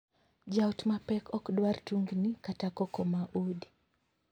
Jaot ma pek ok dwar tungni kata koko ma udi.